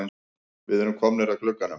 Við erum komnir að glugganum.